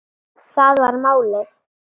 Það var málið.